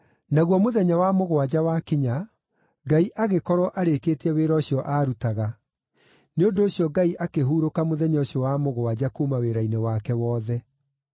Naguo mũthenya wa mũgwanja wakinya, Ngai agĩkorwo arĩkĩtie wĩra ũcio aarutaga; nĩ ũndũ ũcio Ngai akĩhurũka mũthenya ũcio wa mũgwanja kuuma wĩra-inĩ wake wothe.